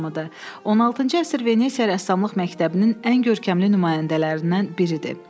16-cı əsr Venesiya rəssamlıq məktəbinin ən görkəmli nümayəndələrindən biridir.